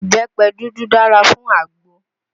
Ìbẹ́pẹ dúdú dára fún àgbo